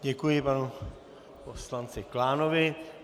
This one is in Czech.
Děkuji panu poslanci Klánovi.